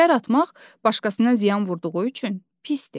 Şər atmaq başqasına ziyan vurduğu üçün pisdir.